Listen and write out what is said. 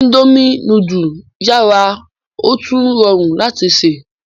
Indomie nudu yara otun rọrun lati ṣe